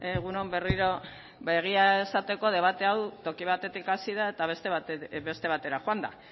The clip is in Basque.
egun on berriro egia esateko debate hau toki batetik hasi da eta beste batera joan da